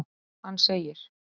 Hann segir:.